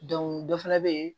dɔ fɛnɛ be yen